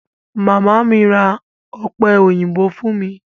Màmá mi ra ọ̀pẹ òyìnbó fún mi.